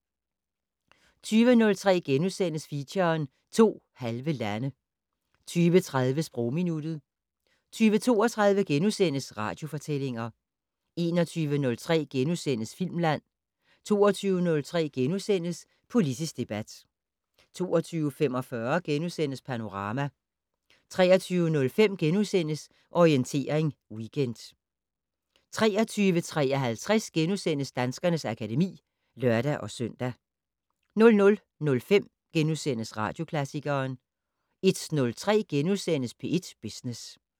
20:03: Feature: To halve lande * 20:30: Sprogminuttet 20:32: Radiofortællinger * 21:03: Filmland * 22:03: Politisk debat * 22:45: Panorama * 23:05: Orientering Weekend * 23:53: Danskernes akademi *(lør-søn) 00:05: Radioklassikeren * 01:03: P1 Business *